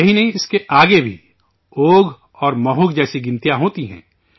یہی نہیں اس کے آگے بھی، اوگھ اور مہوگھ جیسی اعداد ہوتی ہیں